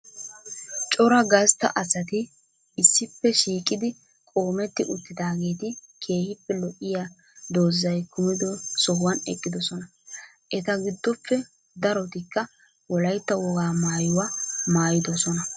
Cora gaastta asati issippe shiiqidi qoomeeti uttidageeti keehippe lo7iya doozay kumido sohuwan eqqidosona. Eeta giddoppe darotikka wolaytta woga maayuwaa maayidosonaa